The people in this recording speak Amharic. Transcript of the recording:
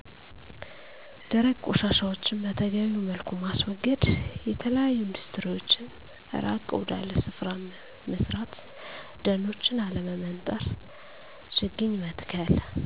ደረቅ ቆሻሻዎችን በተገቢዉ መልኩ ማስወገድ፣ የተለያዮ ኢንዱስትሪዎችን ራቅ ወዳለ ስፍራ መስራት ደኖችን አለመመንጠር፣ ችግኝ መትከል